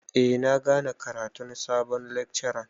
Eh na gane karatun sabon lekcaran.